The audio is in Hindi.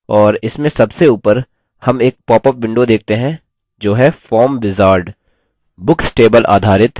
और इसमें सबसे ऊपर हम एक popअप window देखते हैं जो हैः form wizard